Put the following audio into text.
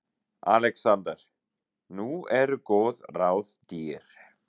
ALEXANDER: Nú eru góð ráð dýr.